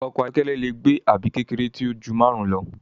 Ọkọ̀ ayọ́kẹ́lẹ́ lẹ gbé àbí kékeré tíó jù márùn lọ.